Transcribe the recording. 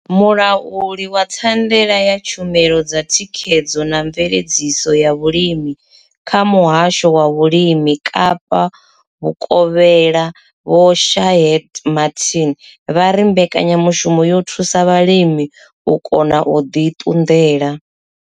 Mulauli wa thandela ya tshumelo dza thikhedzo na mveledziso ya vhulimi kha muhasho wa vhulimi Kapa vhukovhela Vho Shaheed Martin vha ri mbekanyamushumo yo thusa vhalimi u kona u ḓi ṱunḓela.